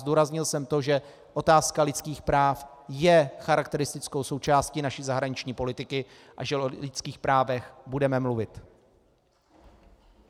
Zdůraznil jsem to, že otázka lidských práv je charakteristickou součástí naší zahraniční politiky a že o lidských právech budeme mluvit.